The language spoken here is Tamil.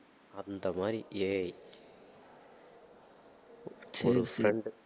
அந்த மாதிரி AI ஒரு friend உ